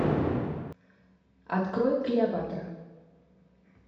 открой клеопатра